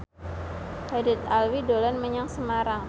Haddad Alwi dolan menyang Semarang